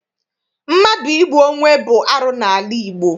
Mmadụ igbu onwe bụ arụ n'ala Igbo.